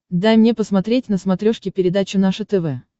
дай мне посмотреть на смотрешке передачу наше тв